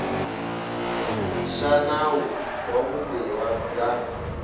xa nawu wa vumbiwa bya